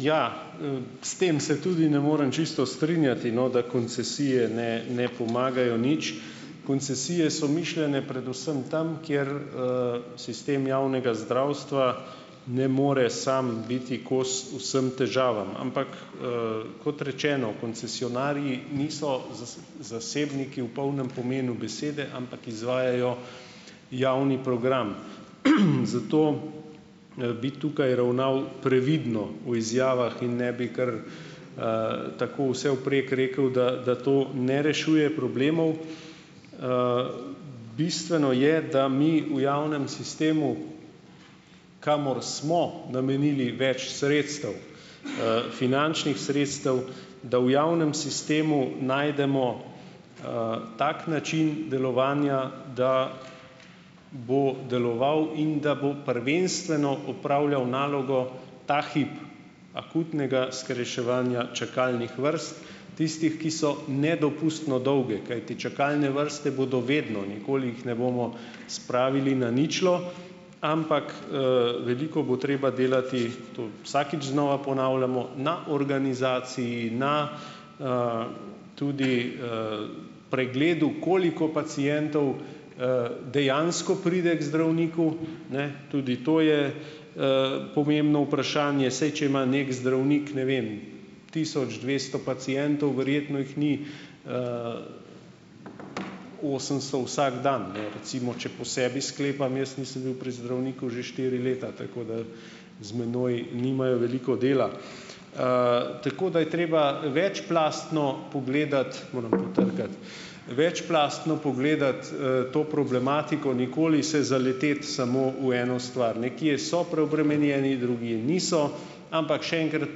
Ja, S tem se tudi ne morem čisto strinjati, no, da koncesije ne ne pomagajo nič. Koncesije so mišljene predvsem tam, kjer, sistem javnega zdravstva ne more sam biti kos vsem težavam, ampak, kot rečeno, koncesionarji niso zasebniki v polnem pomenu besede, ampak izvajajo javni program, zato, bi tukaj ravnal previdno v izjavah in ne bi kar, tako vsevprek rekel, da da to ne rešuje problemov. Bistveno je, da mi v javnem sistemu, kamor smo namenili več sredstev, finančnih sredstev, da v javnem sistemu najdemo, tak način delovanja, da bo deloval in da bo prvenstveno opravljal nalogo ta hip akutnega skrajševanja čakalnih vrst, tistih, ki so nedopustno dolge, kajti čakalne vrste bodo vedno, nikoli jih ne bomo spravili na ničlo, ampak, veliko bo treba delati, to vsakič znova ponavljamo, na organizaciji, na, tudi, pregledu, koliko pacientov, dejansko pride k zdravniku, ne, tudi to je, pomembno vprašanje. Saj če ima neki zdravnik, ne vem, tisoč dvesto pacientov, verjetno jih ni, osemsto vsak dan, ne, recimo, če po sebi sklepam, jaz nisem bil pri zdravniku že štiri leta, tako da z menoj nimajo veliko dela. Tako da je treba večplastno pogledati, moram potrkati , večplastno pogledati, to problematiko, nikoli se zaleteti samo v eno stvar. Nekje so preobremenjeni, drugje niso, ampak še enkrat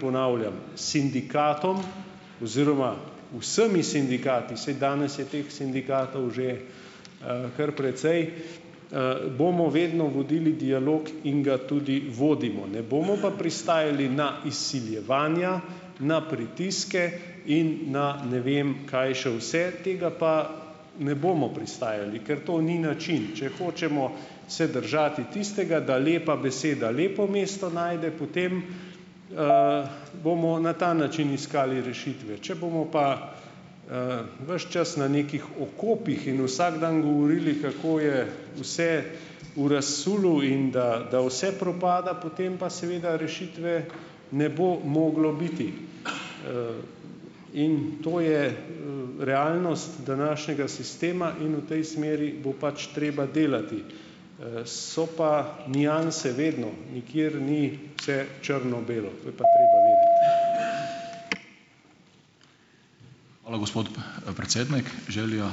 ponavljam, sindikatom oziroma vsemi sindikati, saj danes je teh sindikatov že, kar precej, bomo vedno vodili dialog in ga tudi vodimo. Ne bomo pa pristajali na izsiljevanja, na pritiske in na ne vem kaj še vse, tega pa ne bomo pristajali, ker to ni način. Če hočemo se držati tistega, da lepa beseda lepo mesto najde, potem, bomo na ta način iskali rešitve. Če bomo pa, ves čas na nekih okopih in vsak dan govorili, kako je vse v razsulu in da da vse propada, potem pa seveda rešitve ne bo moglo biti. In to je, realnost današnjega sistema in v tej smeri bo pač treba delati. So pa nianse vedno, nikjer ni vse črno belo, to je pa treba vedeti. Hvala, gospod predsednik, želja ...